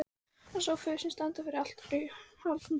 Hann sá föður sinn standa fyrir altari í Hóladómkirkju.